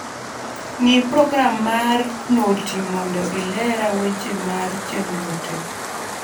ngi` program mar noti mondo ilera weche mar chenro te